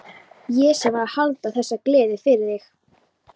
Ég sem var að halda þessa gleði fyrir þig!